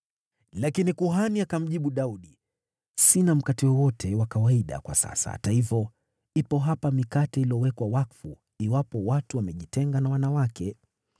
Lakini kuhani akamjibu Daudi, “Sina mkate wowote wa kawaida kwa sasa. Hata hivyo, ipo hapa mikate iliyowekwa wakfu, iwapo watu wamejitenga na wanawake.”